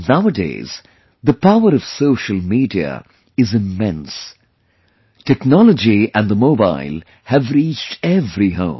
Nowadays, the power of social media is immense... technology and the mobile have reached every home